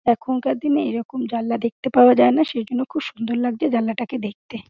এখনকার দিনে এরকম জানলা দেখতে পাওয়া যাই না সেইজন্য খুব সুন্দর লাগছে দেখতে।